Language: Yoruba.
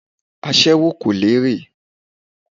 Aséwó kò ní èrè.